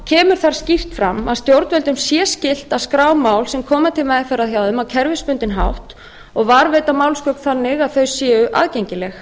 kemur þar skýrt fram að stjórnvöldum sé skylt að skrá mál sem koma til meðferðar hjá þeim á kerfisbundinn hátt og varðveita málsgögn þannig að þau séu aðgengileg